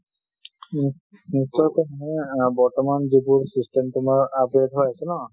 উ। নিশ্চয় কম মই, , বৰ্তমান যিবোৰ system তোমাৰ upgrade হৈ আছে ন